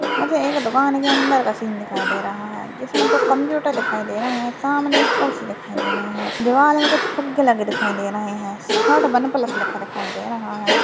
मुझे एक दुकान के अंदर का सीन दिखाई दे रहा है जिसमे दो कम्पुटर दिखाई दे रहे सामने खुर्ची दिखाई दे रहे है दीवाल मे कुच्छ फुग्गे लगे दिखाई दे रहे है वन प्लस लिखा दिखाई दे रहा है।